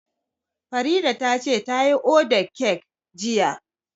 Farida ta ce ta yi ordan kek jiya